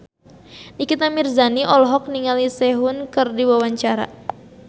Nikita Mirzani olohok ningali Sehun keur diwawancara